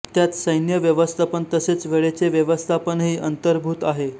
त्यात सैन्य व्यवस्थापन तसेच वेळेचे व्यवस्थापनही अंतर्भूत आहे